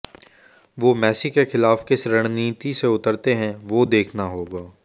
वो मेसी के खिलाफ किस रणनीति से उतरते हैं वो देखना होगा